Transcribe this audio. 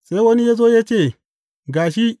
Sai wani ya zo ya ce, Ga shi!